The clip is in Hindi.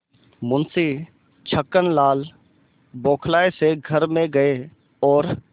मुंशी छक्कनलाल बौखलाये से घर में गये और